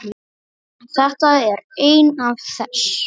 Þetta er ein af þess